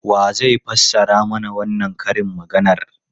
Wa zai fassara mana wannan karin maganar?